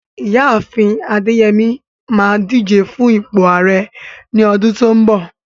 Ìyá àfin Adeyemi máa díje fún ipò Ààrẹ ní ọdún tó ń bọ̀.